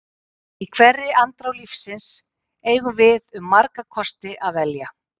Í hverri andrá lífsins eigum við um marga kosti að velja.